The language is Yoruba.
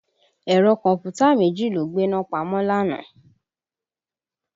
Ẹ̀rọ kọ̀m̀pútà méjì ló gbéná pamọ́ lánàá